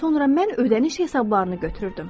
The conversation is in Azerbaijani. Sonra mən ödəniş hesablarını götürürdüm.